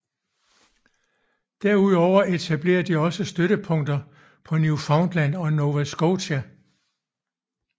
Derudover etablerede de også støttepunkter på Newfoundland og i Nova Scotia